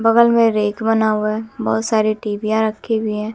बगल में रैक बना हुआ है बहुत सारी टीवीयां रखी हुई हैं।